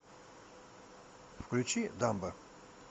включи дамбо